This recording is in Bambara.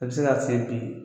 I bɛ se ka se bi